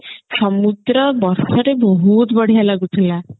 ସମୁଦ୍ର ବର୍ଷା ରେ ବହୁତ ବଢିଆ ଲାଗୁଥିଲା